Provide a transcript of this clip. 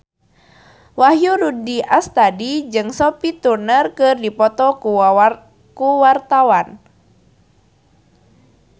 Wahyu Rudi Astadi jeung Sophie Turner keur dipoto ku wartawan